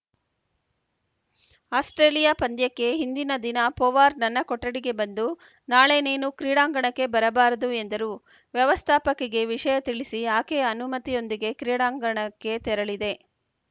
Australia ಪಂದ್ಯಕ್ಕೆ ಹಿಂದಿನ ದಿನ ಪೊವಾರ್‌ ನನ್ನ ಕೊಠಡಿಗೆ ಬಂದು ನಾಳೆ ನೀನು ಕ್ರೀಡಾಂಗಣಕ್ಕೆ ಬರಬಾರದು ಎಂದರು ವ್ಯವಸ್ಥಾಪಕಿಗೆ ವಿಷಯ ತಿಳಿಸಿ ಆಕೆಯ ಅನುಮತಿಯೊಂದಿಗೆ ಕ್ರೀಡಾಂಗಣಕ್ಕೆ ತೆರಳಿದೆ